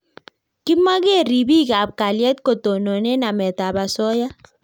Kimagee ribik ab kalyet ko tonone namet ab asoya